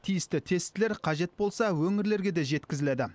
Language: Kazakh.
тиісті тестілер қажет болса өңірлерге де жеткізіледі